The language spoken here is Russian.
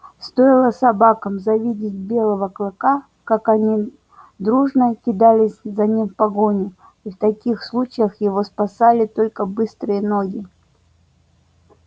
стоило собакам завидеть белого клыка как они дружно кидались за ним в погоню и в таких случаях его спасали только быстрые ноги